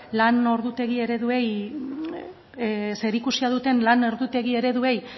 lan ordutegi ereduei zerikusia duten lan ordutegi ereduei